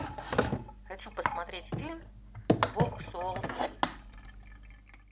хочу посмотреть фильм волк с уолл стрит